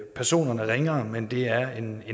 personerne ringere men det er en